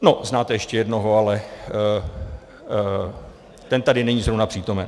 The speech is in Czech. No, znáte ještě jednoho, ale ten tady není zrovna přítomen.